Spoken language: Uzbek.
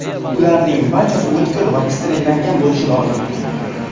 Ularning barchasi o‘tkir va sterillangan bo‘lishi lozim.